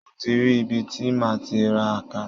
Mo ti rí ibi tí máà ti ra àkàrà.